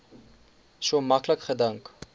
so maklik gedink